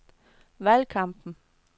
valgkampen